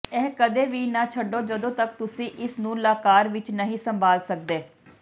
ਇਹ ਕਦੇ ਵੀ ਨਾ ਛੱਡੋ ਜਦੋਂ ਤੱਕ ਤੁਸੀਂ ਇਸ ਨੂੰ ਲਾਕਰ ਵਿਚ ਨਹੀਂ ਸੰਭਾਲ ਸਕਦੇ